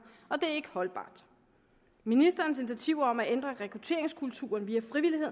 og det er ikke holdbart ministerens initiativer om at ændre rekrutteringskulturen via frivillighed